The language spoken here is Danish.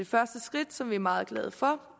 første skridt som vi er meget glade for